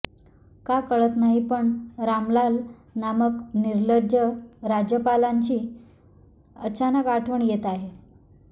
का कळत नाही पण रामलाल नामक निर्लज्ज राज्यपालांची अचानक आठवण येत आहे